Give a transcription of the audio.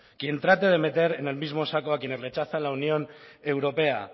quien trate de meter en el mismo saco a quienes rechazan la unión europea